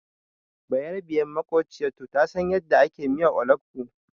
Bayarabiyar maƙwabciyatu ta san yadda ake miyar olugbu.